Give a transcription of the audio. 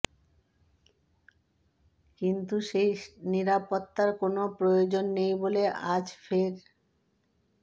কিন্তু সেই নিরাপত্তার কোনও প্রয়োজন নেই বলে আজ ফের